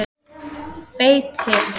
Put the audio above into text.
Beitir